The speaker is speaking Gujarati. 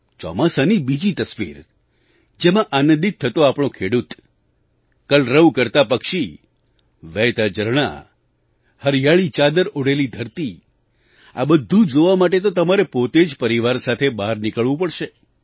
ચોમાસાની બીજી તસવીર જેમાં આનંદિત થતો આપણો ખેડૂત કલરવ કરતાં પક્ષી વહેતાં ઝરણાં હરિયાળી ચાદર ઓઢેલી ધરતીઆ બધું જોવા માટે તો તમારે પોતે જ પરિવાર સાથે બહાર નીકળવું પડશે